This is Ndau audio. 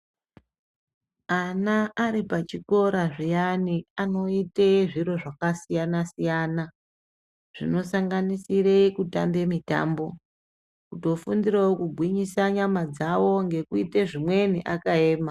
Ana ari pachikora zviyani anoite zviro zvakasiyana siyana zvinosanganisire kutambe mitambo. Kutofundirawo kugwinyisa nyama dzawo ngekuite zvimweni akaema.